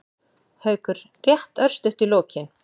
Haukur: Rétt örstutt í lokin.